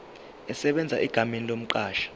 esebenza egameni lomqashi